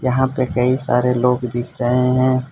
यहां पे कई सारे लोग दिख रहे हैं।